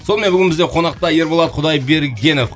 сонымен бүгін бізде қонақта ерболат құдайбергенов